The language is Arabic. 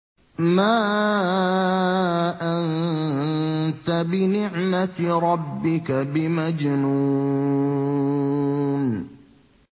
مَا أَنتَ بِنِعْمَةِ رَبِّكَ بِمَجْنُونٍ